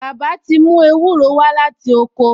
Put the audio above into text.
Bàbá ti mú ewúro wá láti oko